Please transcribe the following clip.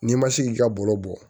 N'i ma se k'i ka bolo bɔ